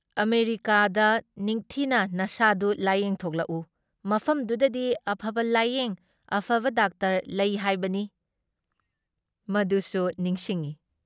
ꯑꯃꯦꯔꯤꯀꯥꯗ ꯅꯤꯡꯊꯤꯅ ꯅꯁꯥꯗꯨ ꯂꯥꯌꯦꯡꯊꯣꯛꯎ ꯃꯐꯝꯗꯨꯗꯗꯤ ꯑꯐꯕ ꯂꯥꯌꯦꯡ ꯑꯐꯕ ꯗꯥꯛꯇꯔ ꯂꯩ ꯍꯥꯏꯕꯅꯤ" ꯃꯗꯨꯁꯨ ꯅꯤꯡꯁꯤꯡꯏ ꯫